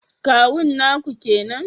Kawun naku kenan